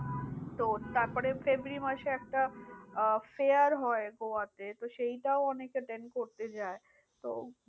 তো তারপরে ফেব্রুয়ারী মাসে একটা আহ fair হয় গোয়াতে। তো সেইটাও অনেকে attain করতে যায়। তো